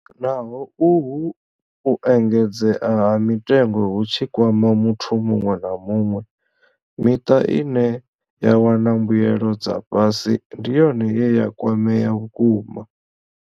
Naho uhu u engedzea ha mitengo hu tshi kwama muthu muṅwe na muṅwe, miṱa ine ya wana mbuelo dza fhasi ndi yone ye ya kwamea vhukuma.